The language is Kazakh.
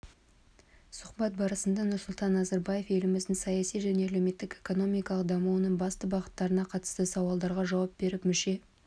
сұхбат барысында нұрсұлтан назарбаев еліміздің саяси және әлеуметтік-экономикалық дамуының басты бағыттарына қатысты сауалдарға жауап беріп мүше